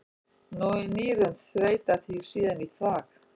Nýrun þveita því síðan í þvag.